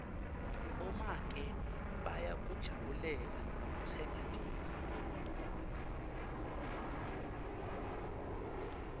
bomake bayakujabulela kutsenga tintfo